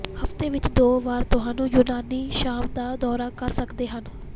ਹਫ਼ਤੇ ਵਿਚ ਦੋ ਵਾਰ ਤੁਹਾਨੂੰ ਯੂਨਾਨੀ ਸ਼ਾਮ ਦਾ ਦੌਰਾ ਕਰ ਸਕਦੇ ਹਨ